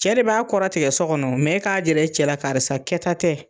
Cɛ b'a kɔrɔ tigɛ so kɔnɔ mɛ k'a jir'e cɛ la karisa kɛ ta tɛ.